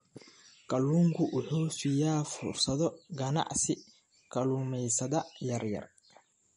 Kalluunku wuxuu siiyaa fursado ganacsi kalluumaysatada yaryar.